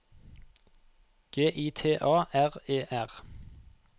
G I T A R E R